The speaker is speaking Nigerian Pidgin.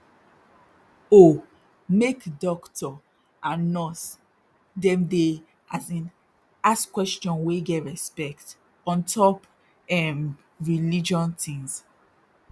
oh make dokto and nurse dem dey as in ask question wey get respect ontop erm religion tins